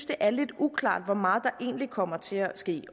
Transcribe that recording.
det er lidt uklart hvor meget der egentlig kommer til at ske